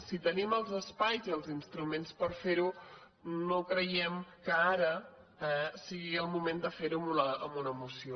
si tenim els espais i els instruments per fer ho no creiem que ara sigui el moment de fer ho amb una moció